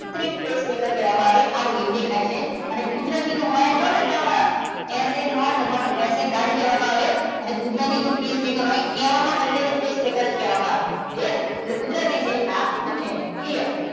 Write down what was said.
કુત્રિમ pacemaker કહેવામાં આવે. આવું કંઈક દેખાય છે અને કુદરતી તો હોય જ બધામાં એસે નોટ અથવા એસ એ ગાંઠ કહેવામાં આવે. અને કુદરતી તો pacemaker હોય કહેવામાં બંનેને pacemaker જ કહેવામાં આવે. clear એટલે કુદરતી છે આ કુત્રિમ છે. clear